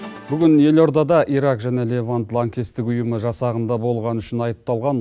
бүгін елордада ирак және ливан лаңкестік ұйымы жасағында болған үшін айыпталған